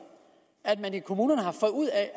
at de i kommunerne har fået ud af